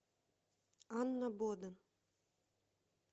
анна боден